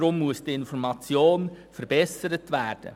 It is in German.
Deshalb muss die Information verbessert werden.